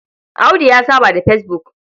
Audu ya saba da fesbuk.